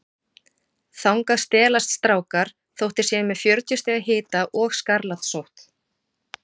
Þangað stelast strákar þótt þeir séu með fjörutíu stiga hita og skarlatssótt.